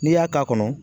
N'i y'a k'a kɔnɔ